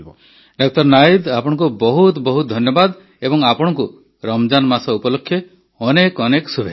ଡା ନାୱିଦ୍ ଆପଣଙ୍କୁ ବହୁତ ବହୁତ ଧନ୍ୟବାଦ ଏବଂ ଆପଣଙ୍କୁ ରମଜାନ ମାସ ଉପଲକ୍ଷେ ଅନେକ ଅନେକ ଶୁଭେଚ୍ଛା